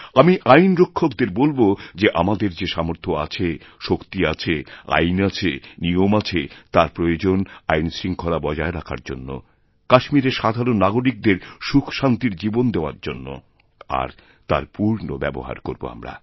আমি আইনরক্ষকদের বলব যে আমাদের যে সামর্থ্য আছে শক্তি আছে আইনআছে নিয়ম আছে তার প্রয়োজন আইনশৃঙ্খলা বজায় রাখার জন্য কাশ্মীরের সাধারণনাগরিকদের সুখশান্তির জীবন দেওয়ার জন্য আর তার পূর্ণ ব্যবহার করব আমরা